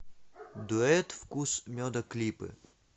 дуэт вкус меда клипы